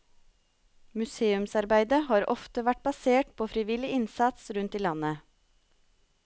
Museumsarbeidet har ofte vært basert på frivillig innsats rundt i landet.